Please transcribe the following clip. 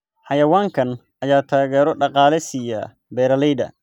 Xayawaankan ayaa taageero dhaqaale siiya beeralayda.